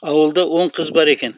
ауылда он қыз бар екен